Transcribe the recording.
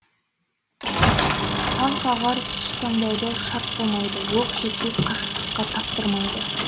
аң қағар тұс таңдауды шарт қылмайды оқ жетпес қашықтыққа таптырмайды